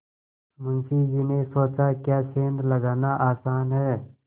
मुंशी जी ने सोचाक्या सेंध लगाना आसान है